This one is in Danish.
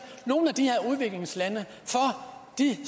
nogle af de her udviklingslande at de